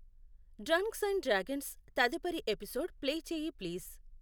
డ్రన్క్స్ and dragons తదుపరి episode play చేయి please